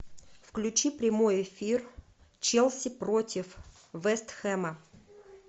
включи прямой эфир челси против вест хэма